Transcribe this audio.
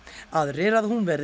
aðrir að hún verði